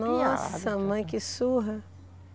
Nossa, mãe, que surra.